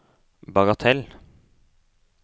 bagatell